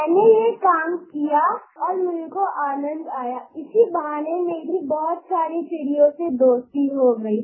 मैंने ये काम किया और मेरे को आनंद आया इसी बहाने मेरी बहुत सारी चिड़ियों से दोस्ती हो गयी